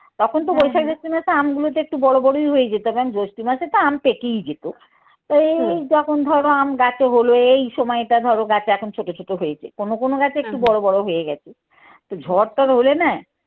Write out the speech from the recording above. তখন তো আমগুলোতে একটু বড়ো বড়োই হয়ে যেতাম জৈষ্ঠী মাসে তো আম পেকেই যেত এই যখন ধরো আম গাছে হলো এই সময়টা ধরো গাছে এখন ছোটো ছোটো হয়েছে কোনো কোনো গাছে একটু বড়ো বড়ো হয়ে গেছে, তো ঝর টর হলে না